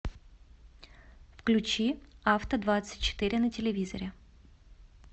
включи авто двадцать четыре на телевизоре